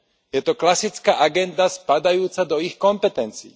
Je to klasická agenda spadajúca do ich kompetencií.